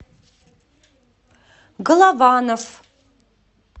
голованов